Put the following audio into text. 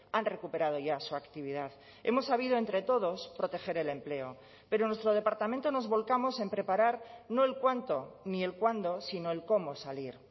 han recuperado ya su actividad hemos sabido entre todos proteger el empleo pero nuestro departamento nos volcamos en preparar no el cuánto ni el cuándo sino el cómo salir